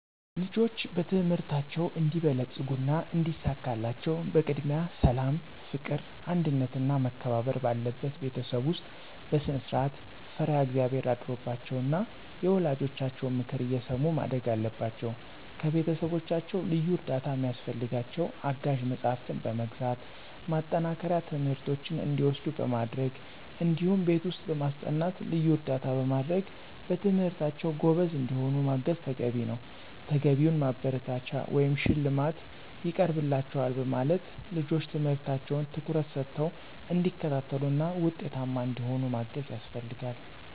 ልጆች በትምህርታቸው እንዲበለጽጉና እንዲሳካላቸው በቅድሚያ ሠላም፣ ፍቅር፣ አንድነትና መከባበር ባለበት ቤተሰብ ውስጥ በስነስርዓት፣ ፈሪሀ እግዚአብሔር አድሮባቸው ና የወላጆቻቸውን ምክር እየሰሙ ማደግ አለባቸው። ከቤተሰቦቻቸው ልዩ እርዳታ ሚያስፈልጋቸው አጋዥ መጽሐፍትን በመግዛት፣ ማጠናከሪያ ትምህርቶችን እንዲወስዱ በማድረግ እዲሁም ቤት ውስጥ በማስጠናት ልዩ እርዳታ በማድረግ በትምህርታቸው ጎበዝ እንዲሆኑ ማገዝ ተገቢ ነዉ። ተገቢውን ማበረታቻ ወይም ሽልማት ይቀርብላችኋል በማለት ልጆች ትምህርታቸውን ትኩረት ሰተው እንዲከታተሉና ውጤታማ እንዲሆኑ ማገዝ ያስፈልጋል።